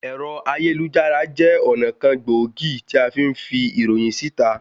Ẹ̀rọ ayélujára jẹ́ ọ̀nà kan gbòógì tí afí ń fi ìròyìn sí ìta